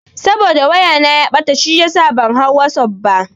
Saboda waya na ya ɓata shiyasa ban hau wasuf ba.